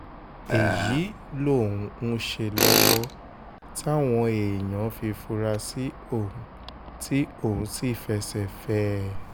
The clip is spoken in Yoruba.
èyí lòun ń ṣe lọ́wọ́ táwọn èèyàn fi fura sí òun tí òun sì fẹsẹ̀ fẹ́ ẹ